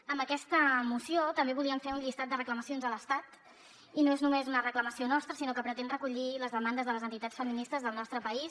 amb aquesta moció també volíem fer un llistat de reclamacions a l’estat i no és només una reclamació nostra sinó que pretén recollir les demandes de les entitats feministes del nostre país